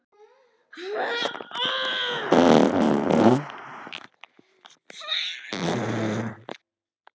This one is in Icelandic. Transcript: Utan um stóran skallann lagðist þykkur kragi.